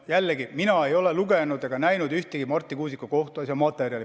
Jällegi: mina ei ole lugenud ega näinud ühtegi Marti Kuusiku kohtuasja materjali.